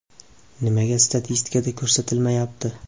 Nimaga statistikada ko‘rsatilmayapti?